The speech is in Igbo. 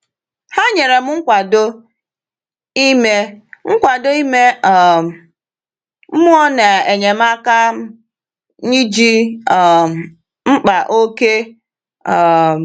Ha nyere m nkwado ime nkwado ime um mmụọ na enyemaka m ji um mkpa oke. um